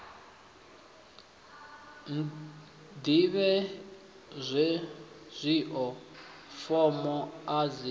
ḓivhe hezwio fomo a dzi